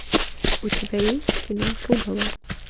у тебя есть кино пугало